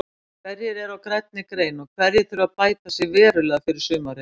Hverjir eru á grænni grein og hverjir þurfa bæta sig verulega fyrir sumarið?